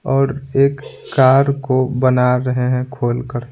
और एक कार को बना रहे हैं खोलकर।